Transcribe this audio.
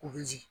U bɛ jigin